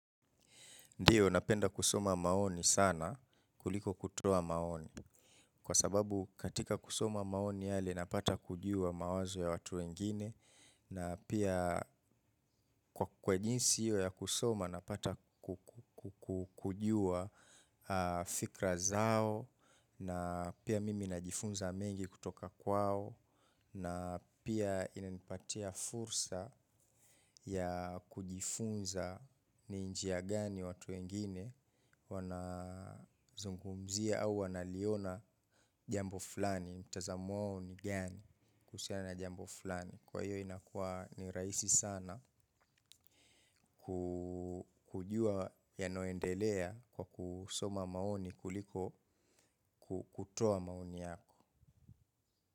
Ndiyo, napenda kusoma maoni sana kuliko kutoa maoni. Kwa sababu katika kusoma maoni yale napata kujua mawazo ya watu wengine na pia kwa kwa jinsi hiyo ya kusoma napata kujua fikra zao na pia mimi najifunza mengi kutoka kwao na pia inanipatia fursa ya kujifunza ni njia gani watu wengine. Wanazungumzia au wanaliona jambo fulani mtazamo wao ni gani kuhusiana na jambo fulani kwa hiyo inakuwa ni rahisi sana kujua yanayoendelea kwa kusoma maoni kuliko kutoa maoni yangu.